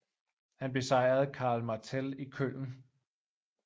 Han besejrede Karl Martell i Köln